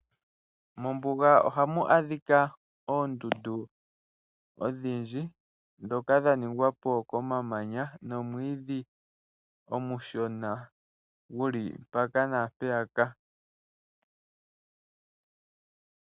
Mombuga ohamu adhika oondundu odhindji ndhoka dha ningwa po komamanya nomwiidhi omushona guli mpaka naampeyaka.